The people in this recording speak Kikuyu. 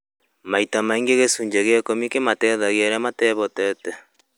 Maita maingĩ gĩcunjĩ kĩa ikũmi kĩmateithagia arĩa matehotete